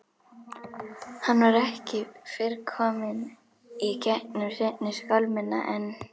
Hann var ekki fyrr kominn í gegnum seinni skálmina en